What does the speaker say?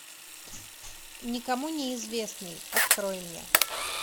никому неизвестный открой мне